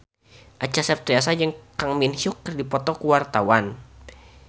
Acha Septriasa jeung Kang Min Hyuk keur dipoto ku wartawan